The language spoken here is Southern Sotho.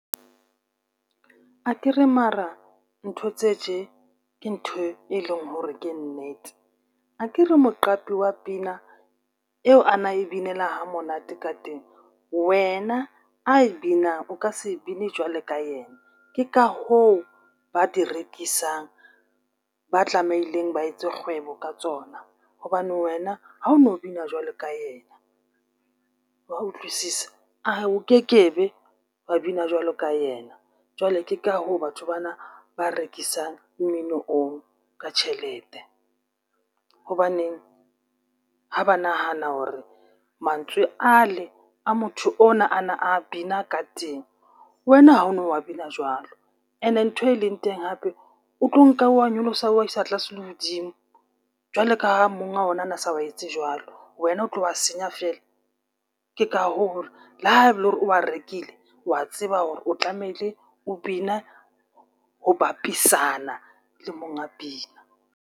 Jo Akere mara ntho tse tje ntho e leng hore ke nnete. Akere moqapi wa pina eo a na e binela ha monate ka teng wena a e binang o ka se e bine jwalo ka yena. Ke ka hoo ba di rekisang ba tlameileng ba etse kgwebo ka tsona hobane wena ha o no bina jwalo ka yena, wa utlwisisa? O ke ke be wa bina jwalo ka yena jwale ka hoo batho bana ba rekisang mmino oo ka tjhelete. Hobane ha ba nahana mantswe ale a motho ona a na a bina ka teng wena ha o no a bina jwalo. And nthwe leng teng hape o tlo nka wa nyolosa wa isa tlase le hodimo jwalo ka ha monga ona a na wa etse jwalo, wna o tlo a senya fela. Ke ka hoo le ha e le hore o wa rekile wa tseba tlametse o bine ho bapisana le monga pina.